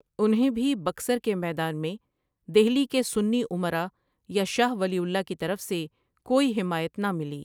انھیں بھی بکسر کے میدان میں دہلی کے سنی امرا یا شاہ ولی اللہ کی طرف سے کوئی حمایت نہ ملی۔